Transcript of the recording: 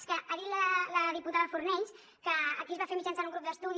és que ha dit la diputada fornells que aquí es va fer mitjançant un grup d’estudi